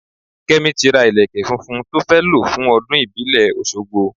Kẹ́mi ti ra ìlékè funfun tó fẹ́ lo fún ọdún ìbílẹ̀ Oṣogbo.